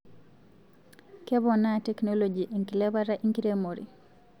Keponaa teknoloji enkilepata enkiremore